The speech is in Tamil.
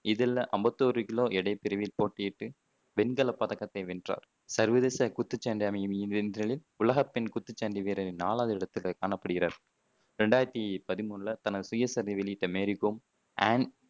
இதில் அம்பத்தி ஒரு கிலோ எடைப் பிரிவில் போட்டியிட்டு வெண்கலப் பதக்கத்தை வென்றார் சர்வதேச குத்துச்சண்டை உலகப் பெண் குத்துச்சண்டை வீரர்களில் நாலாவது இடத்தில் காணப்படுகிறார் ரெண்டாயிரத்தி பதிமூணுல தனது சுயசரிதையை வெளியிட்ட மேரி கோம் அன்